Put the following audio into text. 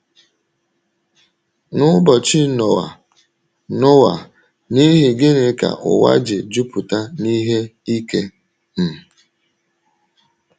N’ụbọchị Noa, Noa, n’ihi gịnị ka ụwa ji ‘ jupụta n’ihe ike um ’?